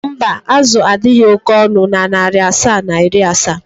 mba, azụ a adịghị oke ọnụ na narị asaa na iri asaa.